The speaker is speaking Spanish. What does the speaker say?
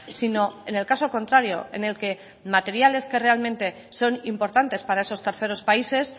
sino en el caso contrario en el que materiales que realmente son importantes para esos terceros países